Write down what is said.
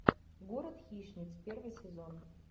город хищниц первый сезон